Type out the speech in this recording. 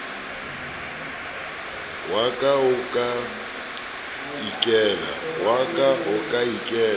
wa ka o ka ikela